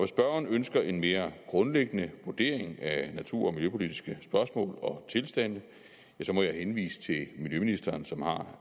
spørgeren ønsker en mere grundlæggende vurdering af natur og miljøpolitiske spørgsmål og tilstande ja så må jeg henvise til miljøministeren som har